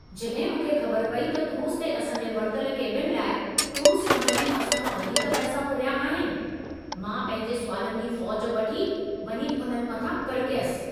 जॾहिं मूंखे ख़बर पेई त क्रूज़ ते असां जे वरितल केबिन लाइ क्रूज़ कम्पनीअ असां खां वधीक पैसा फुरिया आहिनि, मां पंहिंजे सुवालनि जी फ़ौज वठी वञी उन्हनि मथां कड़कयसि।